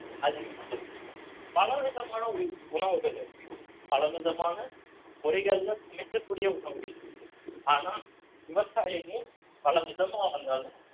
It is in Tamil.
அதிகமாகுது பல விதமான உண~ உணவுகள் இருக்கு பல விதமான முறைகள்ல சமைக்கக்கூடிய உணவுகள் இருக்கு ஆனா விவசாயமும் பலவிதமா வந்தாலும்